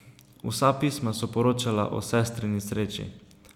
Vsa pisma so poročala o sestrini sreči.